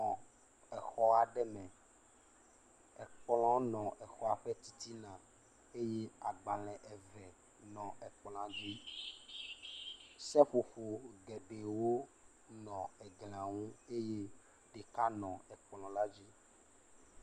Exɔ aɖe me. Ekplɔ nɔ exɔ la ƒe titina eye agbalẽ nɔ ekplɔa dzi. Seƒoƒo geɖewo nɔ ekplɔa dzi eye ɖeka nɔ ekplɔa dzi.